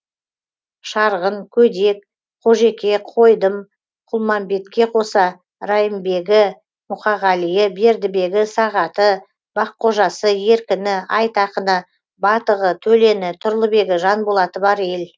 шарғын көдек қожеке қойдым құлмамбетке қоса райымбегі мұқағалиі бердібегі сағаты баққожасы еркіні айтақыны батығы төлені тұрлыбегі жанболаты бар ел